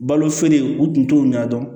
Balo feere u tun t'o ɲɛdɔn